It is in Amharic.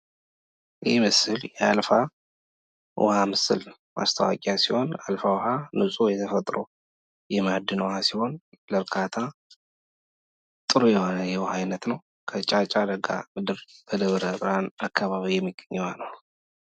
የማስታወቂያ ዓላማ የሸማቾችን ትኩረት በመሳብ፣ የምርት ግንዛቤን በመፍጠርና በመጨረሻም ሽያጭን ማሳደግ ነው።